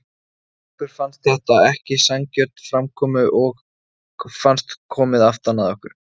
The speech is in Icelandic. Okkur fannst þetta ekki sanngjörn framkomu og fannst komið aftan að okkur.